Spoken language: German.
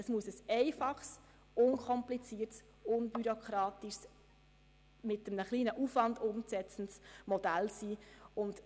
Es muss ein einfaches, unkompliziertes, unbürokratisches und mit kleinem Aufwand umsetzbares Modell sein.